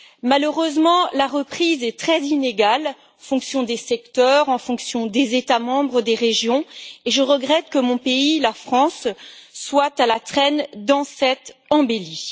Malheureusement, la reprise est très inégale en fonction des secteurs, en fonction des États membres et des régions, et je regrette que mon pays, la France, soit à la traîne dans cette embellie.